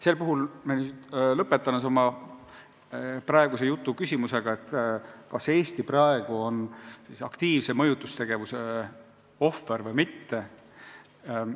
Sel puhul lõpetan oma praeguse jutu küsimusega: kas Eesti praegu on aktiivse mõjutuse ohver või mitte?